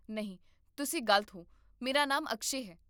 ਨਹੀਂ, ਤੁਸੀਂ ਗਲਤ ਹੋ, ਮੇਰਾ ਨਾਮ ਅਕਸ਼ੈ ਹੈ